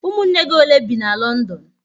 Ụmụnne gị ole bi n'Londonu?